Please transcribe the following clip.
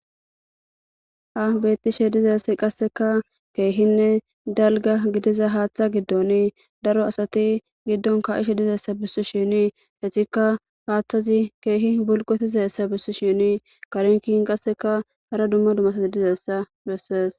abettishe dizassi qasseka keehinne dalga gidiza haaththa giddonii daro asati giddon ka7ishe dizayssa bissu shinii hetikka haaththazi keehi bulqo tizaessa bissu shinii karinkin qasseka hara dumma dumasati dizessa bessees